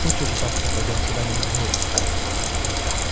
хочешь завтра пойдём куда-нибудь вместе